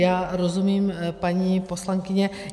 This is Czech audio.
Já rozumím, paní poslankyně.